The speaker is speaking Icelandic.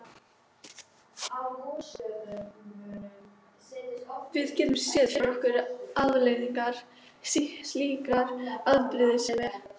Við getum séð fyrir okkur afleiðingar slíkrar afbrýðisemi.